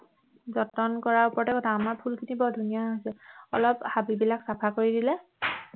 যতন কৰা ওপৰতে কথা আমাৰ ফুলখিনি বৰ ধুনীয়া হৈছে অলপ হাবি বিলাক চাফা কৰি দিলে